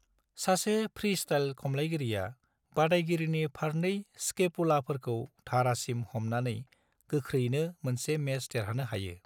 सासे फ्रीस्टाइल खमलायगिरिया बादायगिरिनि फारनै स्कैपुलाफोरखौ धारासिम हमनानै गोख्रैनो मोनसे मेच देरहानो हायो।